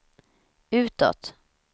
utåt